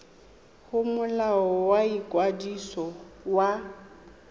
go molao wa ikwadiso wa